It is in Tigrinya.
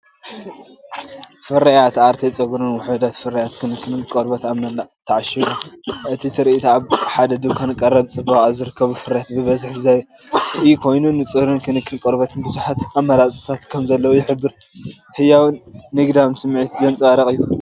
ፍርያት ኣርቴ ጸጉርን ውሑዳት ፍርያት ክንክን ቆርበትን ኣብ መንደቕ ተዓሺጎም። እቲ ትርኢት ኣብ ሓደ ድኳን ቀረብ ጽባቐ ዝርከቡ ፍርያት ብዝሒ ዘርኢ ኮይኑ፡ ንጸጉርን ክንክን ቆርበትን ብዙሓት ኣማራጺታት ከምዘለዉ ዝሕብር ህያውን ንግዳውን ስምዒት ዘንጸባርቕ እዩ።